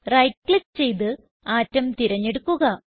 right click ചെയ്ത് atom തിരഞ്ഞെടുക്കുക